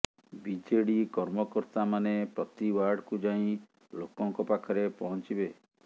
BJD କର୍ମକର୍ତାମାନେ ପ୍ରତି ୱାର୍ଡକୁ ଯାଇ ଲୋକଙ୍କ ପାଖରେ ପହଚିଂବେ